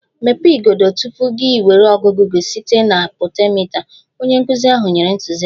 Mepee igodo! Tupu ị nwere ọgụgụ gị site na potentiomita, onye nkụzi ahụ nyere ntụziaka